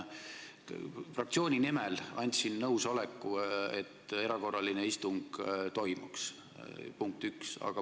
Fraktsiooni nimel andsin nõusoleku, et erakorraline istung toimuks, punkt üks.